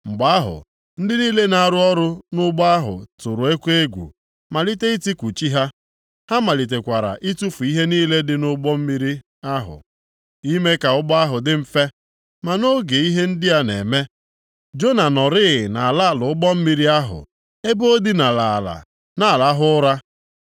Mgbe ahụ, ndị niile na-arụ ọrụ nʼụgbọ ahụ tụrụ oke egwu, malite itiku chi ha. Ha malitekwara itufu ihe niile dị nʼụgbọ mmiri ahụ, ime ka ụgbọ ahụ dị mfe. Ma nʼoge ihe ndị a na-eme, Jona nọrịị nʼala ala ụgbọ mmiri ahụ ebe o dinara ala na-arahụ ụra.